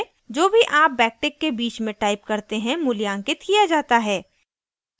जो भी आप backtick के बीच में type करते हैं मूल्यांकित किया जाता है